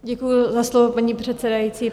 Děkuju za slovo, paní předsedající.